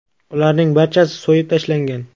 Ularning barchasi so‘yib tashlangan.